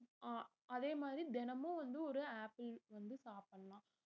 அஹ் அதே மாதிரி தினமும் வந்து ஒரு ஆப்பிள் வந்து சாப்பிடலாம்